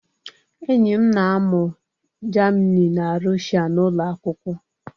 Enyi m na-amụ Germini na Russia n'ụlọ akwụkwọ